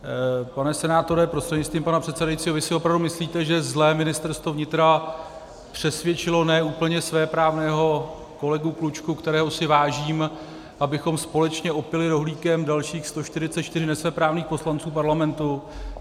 Pane senátore prostřednictvím pana předsedajícího, vy si opravdu myslíte, že zlé Ministerstvo vnitra přesvědčilo ne úplně svéprávného kolegu Klučku, kterého si vážím, abychom společně opili rohlíkem dalších 144 nesvéprávných poslanců Parlamentu?